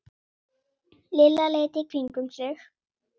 Lilla leit í kringum sig.